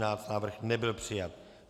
Návrh nebyl přijat.